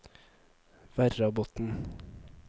Verrabotn